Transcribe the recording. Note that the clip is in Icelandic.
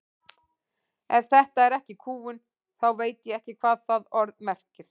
Ef þetta er ekki kúgun þá veit ég ekki hvað það orð merkir.